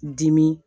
Dimi